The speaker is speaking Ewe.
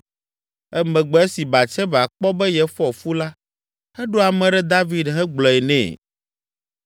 Emegbe esi Batseba kpɔ be yefɔ fu la eɖo ame ɖe David hegblɔe nɛ.